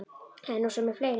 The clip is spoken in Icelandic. Það er nú svo með fleiri.